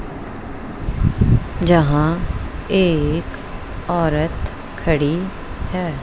जहाँ एक औरत खड़ी है।